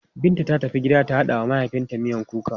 Binta ta tafi gida ta haɗa wa mahaifinta miyan kuka.